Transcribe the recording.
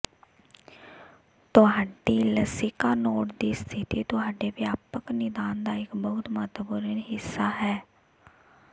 ਤੁਹਾਡੀ ਲਸਿਕਾ ਨੋਡ ਦੀ ਸਥਿਤੀ ਤੁਹਾਡੇ ਵਿਆਪਕ ਨਿਦਾਨ ਦਾ ਇੱਕ ਬਹੁਤ ਮਹੱਤਵਪੂਰਨ ਹਿੱਸਾ ਹੈ